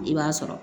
I b'a sɔrɔ